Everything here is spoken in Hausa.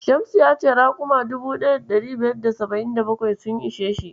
Shamsu ya ce raƙuma 1577 sun ishe shi.